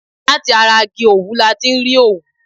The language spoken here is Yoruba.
Láti ara igi òwú ni a ti rí òwú.